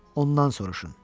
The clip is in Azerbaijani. Ondan soruşun.